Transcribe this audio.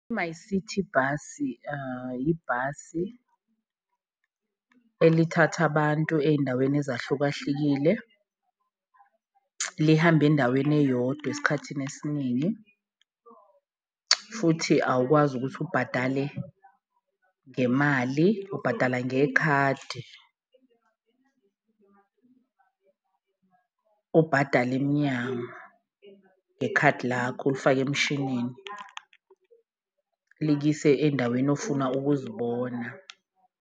I-MyCiti Bus ibhasi elithatha abantu eyindaweni ezahlukahlukile, lihambe endaweni eyodwa esikhathini esiningi futhi awukwazi ukuthi ubhadale ngemali, ubhadala ngekhadi . Ubhadale emnyango ngekhadi lakho, ulifake emshinini, likuyise endaweni ofuna ukuzibona.